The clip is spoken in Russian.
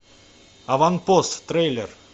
аванпост трейлер